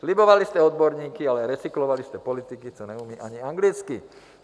Slibovali jste odborníky, ale recyklovali jste politiky, co neumí ani anglicky.